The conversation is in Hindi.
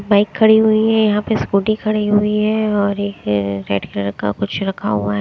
बाइक खड़ी हुई हैं यहां पे स्कूटी खड़ी हुई है और एक रेड कलर का कुछ रखा हुआ है।